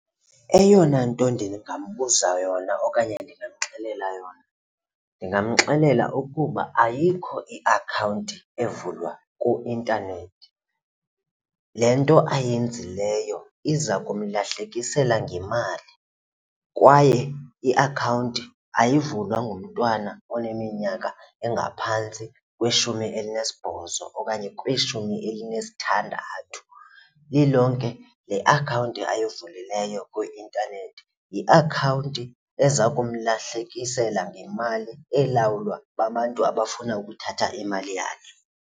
Eyona nto ndingambuza yona okanye ndingamxelela yona, ndingamxelela ukuba ayikho iakhawunti evulwa kuintanethi. Le nto ayenzileyo iza kumlahlekisela ngemali kwaye iakhawunti ayivulwa ngumntwana oneminyaka engaphantsi kweshumi elinesibhozo okanye kwishumi elinesithandathu. Lilonke le akhawunti uyivulileyo kwi-intanethi yiakhawunti eza kumlahlekisela ngemali elawulwa babantu abafuna ukuthatha imali yakhe.